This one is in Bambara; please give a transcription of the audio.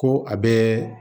Ko a bɛɛ